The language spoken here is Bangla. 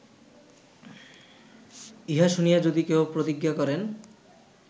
ইহা শুনিয়া যদি কেহ প্রতিজ্ঞা করেন